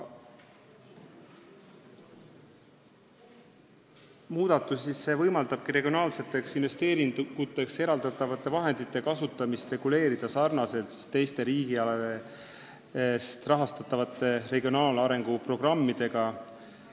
Muudatus võimaldabki regionaalseteks investeeringuteks eraldatavate vahendite kasutamist reguleerida samamoodi, nagu seda tehakse teiste riigi rahastatavate regionaalarengu programmide puhul.